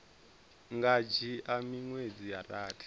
nga dzhia miṅwedzi ya rathi